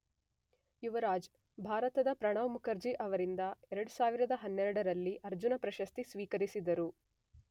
ಯುವರಾಜ್ ಭಾರತದ ಪ್ರಣವ್ ಮುಖರ್ಜಿ ಅವರಿಂದ 2012 ರಲ್ಲಿ ಅರ್ಜುನ ಪ್ರಶಸ್ತಿ ಸ್ವೇಕರಿಸಿದರು